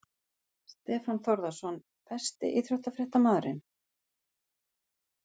Stefán Þórðarson Besti íþróttafréttamaðurinn?